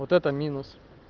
вот это минус